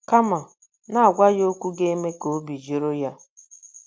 Kama, na - agwa ya okwu ga - eme ka obi jụrụ ya.